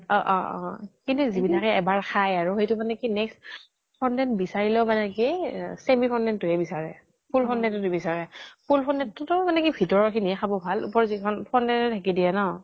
অ অ অ অ কিন্তু যিবিলাকে মানে এবাৰ খায় আৰু সেইটো মানে কি next fondant বিছাৰিলেও মানে কি semi fondant টোহে বিছাৰে। full fondant টো নিবিছাৰে। full fondant টো মানে কি ভিতৰৰ খিনিহে খাব ভাল। ওপৰৰ যিখিনি fondant নে ঢাকি দিয়ে ন।